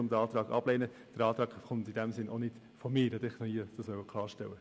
Der Antrag kommt nicht von mir, das wollte ich nur klarstellen.